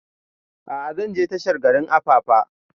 A'a zan je tashar jirgin apapa